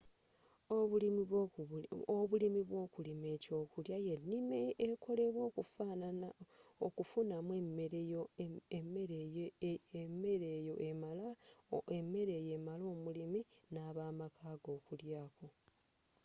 obulimi bwokulima ekyokulya yenima ekolebwa okufunamu emere eyo emala omulimi n'abamakaage okulyaako